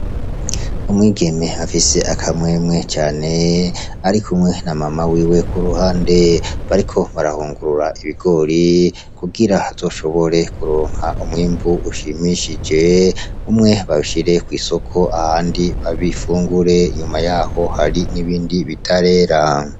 Umwigeme afise akamwemwe cane arikumwe na mama wiwe k'uruhande bariko barahungurura ibigori kugira hazoshobore kuronkwa umwimbu ushimishije . Umwe bawushire kw'isoko, uwundi bawufungure inyuma yabo hari n'ibindi bitarera.